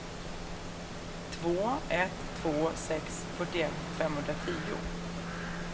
två ett två sex fyrtioett femhundratio